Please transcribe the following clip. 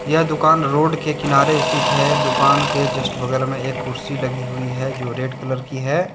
यह दुकान रोड के किनारे स्थित है दुकान के जस्ट बगल में एक कुर्सी लगी हुई है जो रेड कलर की है।